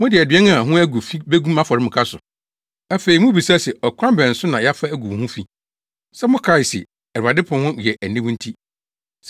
“Mode aduan a ho agu fi begu mʼafɔremuka so. “Afei mubisa se ‘Ɔkwan bɛn so na yɛafa agu wo ho fi?’ “Sɛ mokae se, Awurade pon ho yɛ aniwu nti.